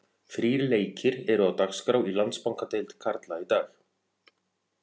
Þrír leikir eru á dagskrá í Landsbankadeild karla í dag.